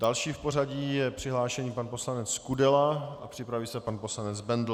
Další v pořadí je přihlášený pan poslanec Kudela a připraví se pan poslanec Bendl.